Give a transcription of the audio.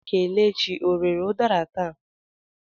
Kelechi ọ rere udara taa?